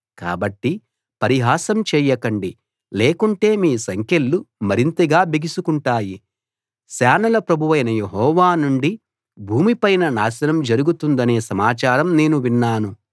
కాబట్టి పరిహాసం చేయకండి లేకుంటే మీ సంకెళ్ళు మరింతగా బిగుసుకుంటాయి సేనల ప్రభువైన యెహోవా నుండి భూమిపైన నాశనం జరుగుతుందనే సమాచారం నేను విన్నాను